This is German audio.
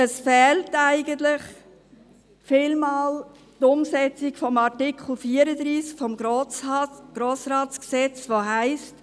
Eigentlich fehlt oftmals die Umsetzung von Artikel 34 des Gesetzes über den Grossen Rat (Grossratsgesetz, GRG), in welchem steht, die Ratsmitglieder müssen: